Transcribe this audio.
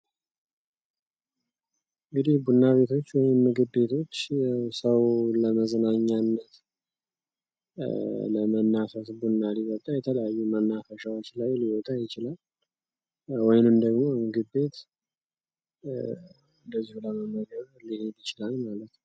እንግዲህ ቡና ቤቶች ወይም ምግብ ቤቶች ሰው ለመዝናኛነት ለመናፈስ ቡና ሊጠጣ የተለያዩ መናፈሻዎች ላይ ሊወጣ ይችላል። ወይም ደግሞ ምግብ ቤት እንደዚሁ ለመመገብ ሊሔድ ይችላል ማለት ነው።